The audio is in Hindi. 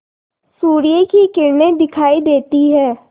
सूर्य की किरणें दिखाई देती हैं